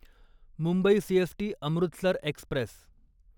Mumbai CST Amritsar Express